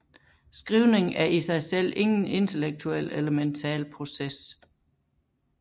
Skrivning er i sig selv ingen intellektuel eller mental proces